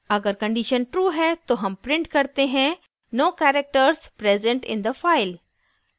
अगर condition true है तो हम print करते हैं no characters present in the file